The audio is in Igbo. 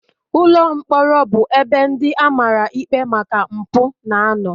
Ụlọ mkpọrọ bụ ebe ndị a mara ikpe maka mpụ na-anọ